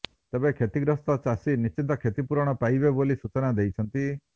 ତେବେ କ୍ଷତିଗ୍ରସ୍ତ ଚାଷୀ ନିଶ୍ଚିତ କ୍ଷତି ପୁରଣ ପାଇବେ ବୋଲି ସୂଚନା ଦେଇଛନ୍ତି